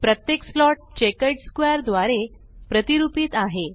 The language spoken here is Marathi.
प्रत्येक स्लॉट चेकर्ड स्क्वेअर द्वारे प्रतिरुपीत आहे